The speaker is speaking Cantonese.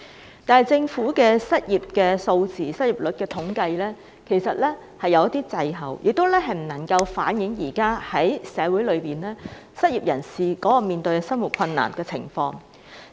不過，政府編製的失業率數字和統計卻有所滯後，未能反映現時社會上失業人士面對的生活困難情況。